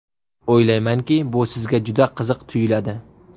O‘ylaymanki, bu sizga juda qiziq tuyuladi.